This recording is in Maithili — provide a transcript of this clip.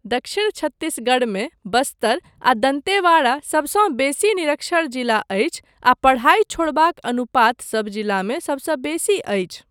दक्षिण छत्तीसगढ़मे बस्तर आ दन्तेवाड़ा सबसँ बेसी निरक्षर जिला अछि आ पढ़ाई छोड़बाक अनुपात सब जिलामे सबसँ बेसी अछि।